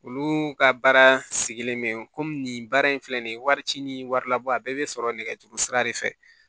Olu ka baara sigilen bɛ komi baara in filɛ nin ye wari ci ni wari labɔ a bɛɛ bɛ sɔrɔ nɛgɛjuru sira de fɛ